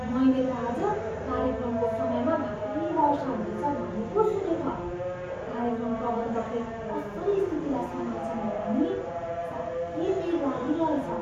मैले त आज कार्यक्रमको समयमा भारी वर्षा हुनेछ भन्ने पो सुनेँ त। कार्यक्रम प्रबन्धकले कसरी स्थितिलाई सम्हाल्छन् होला नि? साह्रै पिर लागिरहेछ।